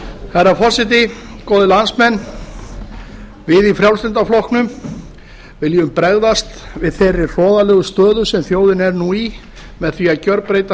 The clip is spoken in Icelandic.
herra forseti góðir landsmenn við í frjálslynda flokknum viljum bregðast við þeirri hroðalegu stöðu sem þjóðin er nú í með því að gjörbreyta